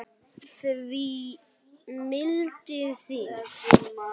því mildin þín